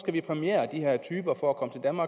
vi præmiere de her typer for at komme